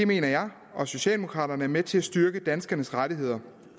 mener jeg og socialdemokraterne er med til at styrke danskernes rettigheder